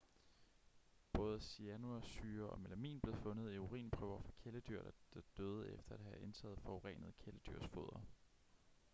både cyanursyre og melamin blev fundet i urinprøver fra kæledyr der døde efter at have indtaget forurenet kæledyrsfoder